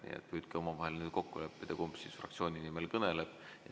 Nii et püüdke omavahel kokku leppida, kumb fraktsiooni nimel kõneleb.